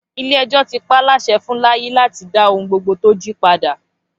Ilé ẹjọ́ ti pa á láṣẹ fun Láyí láti dá ohun gbogbo tó jí padà